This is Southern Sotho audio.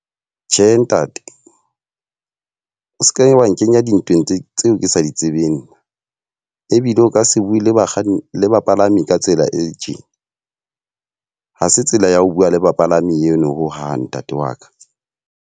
Tjhe, ntate o seke wa nkenya dintweng tse tseo ke sa ditsebeng. Ebile o ka se bue le bakganni le bapalami ka tsela e tjena. Ha se tsela ya ho bua le bapalami eno ho hang ntate wa ka.